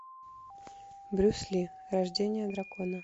брюс ли рождение дракона